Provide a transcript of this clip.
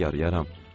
İşinə yarayaram.